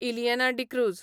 Ileana D'Cruz